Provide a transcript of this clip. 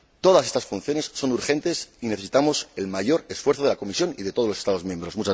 Todas estas funciones son urgentes y necesitamos el mayor esfuerzo de la Comisión y de todos los Estados miembros.